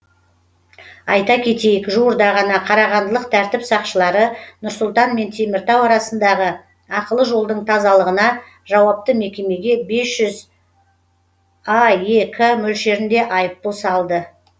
айта кетейік жуырда ғана қарағандылық тәртіп сақшылары нұр сұлтан мен теміртау арасындағы ақылы жолдың тазалығына жауапты мекемеге бес жүз аек мөлшерінде айыппұл салды